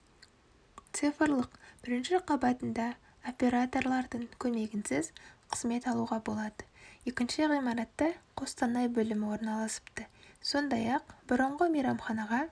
цифрлық бірінші қабатында операторлардың көмегінсіз қызмет алуға болады екінші ғимаратта қостанай бөлімі орналасыпты сондай-ақ бұрынғы мейрамханаға